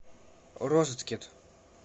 розеткет